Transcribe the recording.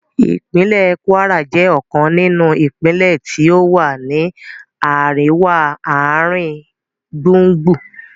Ìpínlẹ̀ Kwara jẹ́ ọ̀kan nínú ìpínlẹ́ tí ó wà ní àríwá-ààringbùngbùn